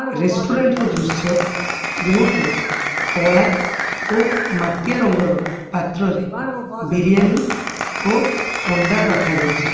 ରେଷ୍ଟୁରାଣ୍ଟର ଦୃଶ୍ୟ ଯେଉଁଠାରେ କଳା ଓ ମାଟିଆ ରଙ୍ଗର ପାତ୍ରରେ ବିରିୟାନୀ ଓ ଅଣ୍ଡା ରଖାଯାଇଛି।